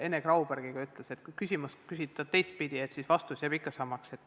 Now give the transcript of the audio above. Ene Grauberg ütles ikka, et kui küsimust küsida teistpidi, siis vastus jääb samaks.